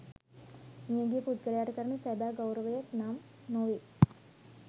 මියගිය පුද්ගලයාට කරන සැබෑ ගෞරවයක් නම් නොවේ.